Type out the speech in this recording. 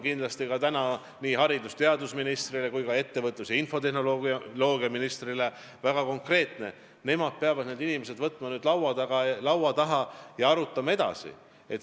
Minu sõnum on nii haridus- ja teadusministrile kui ka ettevõtlus- ja infotehnoloogiaministrile väga konkreetne: nad peavad need inimesed võtma laua taha ja teemat edasi arutama.